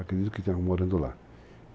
Acredito que ele esteja morando lá.